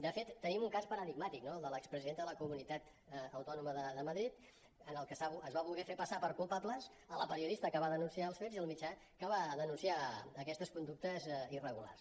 de fet tenim un cas paradigmàtic no el de l’expresidenta de la comunitat autònoma de madrid en el que es va fer voler passar per culpables la periodista que va denunciar els fets i el mitjà que va denunciar aquestes conductes irregulars